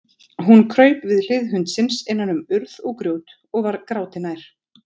Hún kraup við hlið hundsins innan um urð og grjót og var gráti nær.